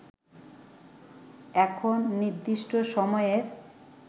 এখন নির্দিষ্ট সময়ের